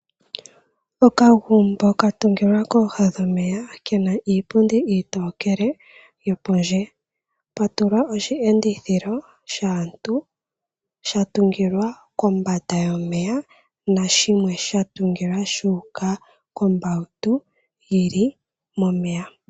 Okagumbo ka tungilwa kooha dhomeya kena iipundi iitokele yokondje pwatulwa oshi endithilo shaantu sha tungilwa kombanda yomeya nashimwe sha tungilwa shu uka ko mbawutu yili momeya.